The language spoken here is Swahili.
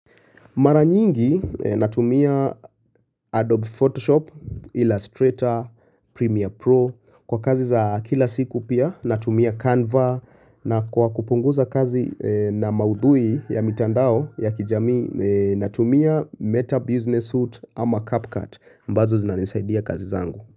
Mara nyingi natumia Adobe Photoshop, Illustrator, Premiere Pro. Kwa kazi za kila siku pia natumia Canva na kwa kupunguza kazi na maudhui ya mitandao ya kijami natumia Meta Business Suite ama CapCut mbazo zinanisaidia kazi zangu.